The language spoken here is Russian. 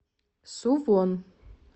сувон